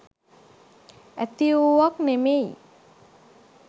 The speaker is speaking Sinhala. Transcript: ඇතිවූවක් නෙමෙයි.